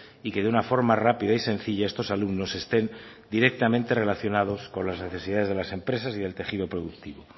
y que de una forma rápida y sencilla estos alumnos estén directamente relacionados con las necesidades de las empresas y del tejido productivo